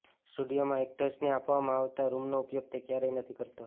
સ્ટુડિયોમાં એક્ટર્સને આપવામાં આવતા રુમનો ઉપયોગ તે ક્યારેય નથી કરતો